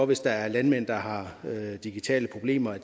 hvis der er landmænd der har digitale problemer